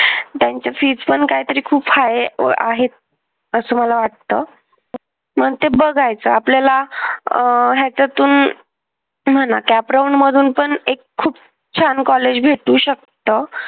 त्यांची fees पण काहीतरी खूप high आहे. असं मला वाटतं. मग ते बघायच. आपल्याला त्याच्यातून म्हणा cap round मधून पण एक खूप छान कॉलेज भेटू शकत.